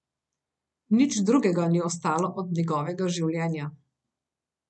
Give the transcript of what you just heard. Nič drugega ni ostalo od njegovega življenja.